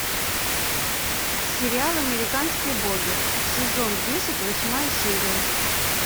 сериал американские боги сезон десять восьмая серия